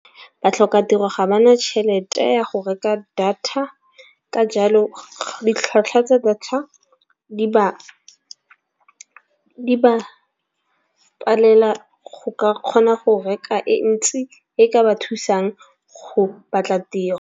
Batlhoka tiro ga bana tšhelete ya go reka data ka jalo ditlhwatlhwa tsa data di ba palela go ka kgona go reka e ntsi e ka ba thusang go batla tiro.